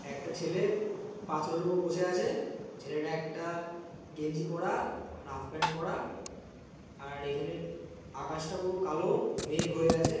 একটা ছেলে পাথরের উপর বসে আছে ছেলেটা একটা গেঞ্জি পরা হাফ প্যান্ট পরা আর এখানে আকাশটা পুরো কালো মেঘ হয়ে আছে।